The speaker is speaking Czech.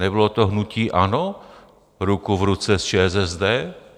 Nebylo to hnutí ANO ruku v ruce s ČSSD?